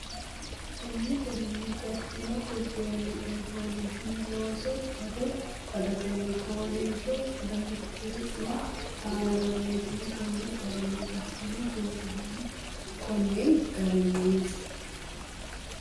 Konni garinni gattino gurduwanni coy loossino looso baddo baddotenni fooliishsho daftari ne aana borreesse Konni garinni gattino gurduwanni Konni garinni.